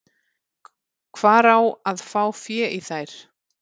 Hvar á að fá fé í þær?